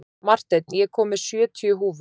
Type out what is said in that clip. Marteinn, ég kom með sjötíu húfur!